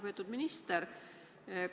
Lugupeetud minister!